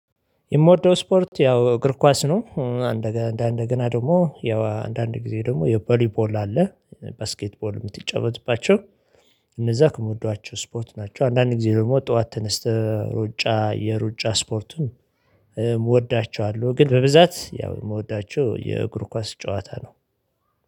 የምወደው ስፖርት ያው እግር ኳስ ነው አንድ አንድ እንደገና ደግሞ ያው አንድ አንድ ጊዜ ደግሞ የበሊ ቦል አለ ባስኬትቦል የምትጨወጥባቸው እነዛ ከምወዷቸው ስፖርት ናቸው አንዳንድ ጊዜ ደግሞ ጠዋት ተነስተህ ሩጫ የሩጫ ስፖርቱን እወዳቸዋለሁ ግን በብዛት ያው የምወዳቸው የእግሩ ኳስ ጨዋታ ነው።